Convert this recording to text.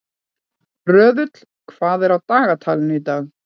Röðull, hvað er á dagatalinu í dag?